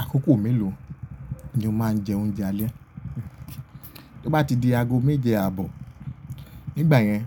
Àkókò mélòó ni o máa ń jẹ oúnjẹ alẹ́? Bí ó bá ti di ago méje àbọ̀, nígbà yẹn